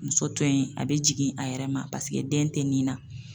Muso to yen a bi jigin a yɛrɛ ma paseke den tɛ nin na.